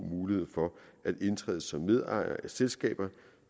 mulighed for at indtræde som medejer af selskaber